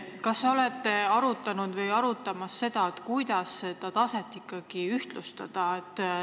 Kas te olete arutanud, kuidas seda taset ikkagi ühtlustada?